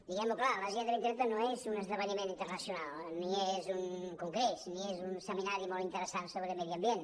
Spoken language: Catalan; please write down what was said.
diguem ho clar l’agenda dos mil trenta no és un esdeveniment internacional ni és un congrés ni és un seminari molt interessant sobre medi ambient